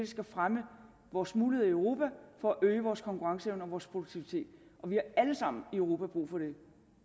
skal fremme vores muligheder i europa for at øge vores konkurrenceevne og vores produktivitet og vi har alle sammen i europa brug for det